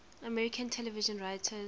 american television writers